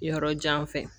Yɔrɔ jan fɛ